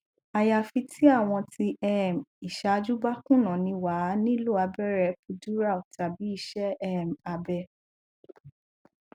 ayafi ti awon ti um isaju ba kuna ni wa a nilo abere epidural tabi ise um abe